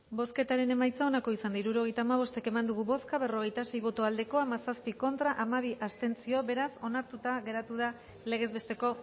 bozketaren emaitza onako izan da hirurogeita hamabost eman dugu bozka berrogeita sei boto aldekoa hamazazpi contra hamabi abstentzio beraz onartuta geratu da legez besteko